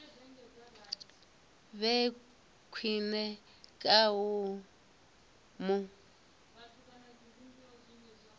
vhe khwine kana u mu